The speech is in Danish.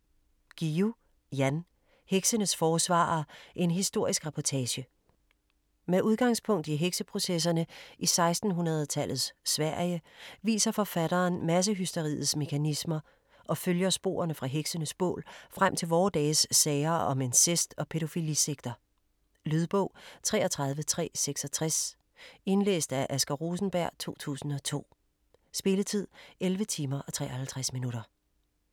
Guillou, Jan: Heksenes forsvarere: en historisk reportage Med udgangspunkt i hekseprocesserne i 1600-tallets Sverige viser forfatteren massehysteriets mekanismer og følger sporene fra heksenes bål frem til vore dages sager om incest og pædofilisekter. Lydbog 33366 Indlæst af Asger Rosenberg, 2002. Spilletid: 11 timer, 53 minutter.